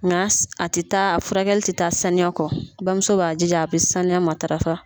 Nga a tɛ taa furakɛli tɛ taa saniya kɔ bamuso b'a jija a bɛ saniya matarafa.